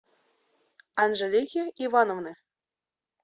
анжелики ивановны